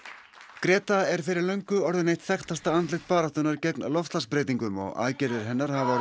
greta er fyrir löngu orðin eitt þekktasta andlit baráttunnar gegn loftslagsbreytingum og aðgerðir hennar hafa orðið